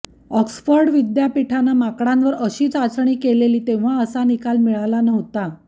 Oxford विद्यापीठाने माकडांवर अशी चाचणी केलेली तेव्हा असा निकाल मिळाला नव्हता